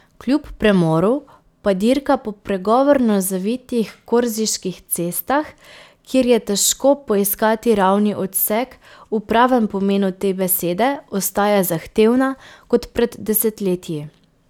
Kljub premoru pa dirka po pregovorno zavitih korziških cestah, kjer je težko poiskati ravni odsek v pravem pomenu te besede, ostaja zahtevna kot pred desetletji.